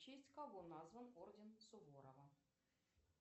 в честь кого назван орден суворова